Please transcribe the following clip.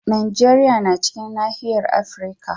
Najeriya na cikin nahiyar Afirka.